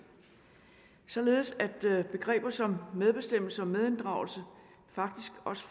således at begreber som medbestemmelse og medinddragelse faktisk også